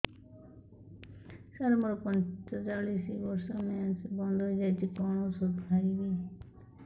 ସାର ମୋର ପଞ୍ଚଚାଳିଶି ବର୍ଷ ମେନ୍ସେସ ବନ୍ଦ ହେଇଯାଇଛି କଣ ଓଷଦ ଖାଇବି